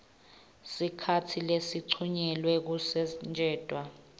sikhatsi lesincunyelwe kusetjentwa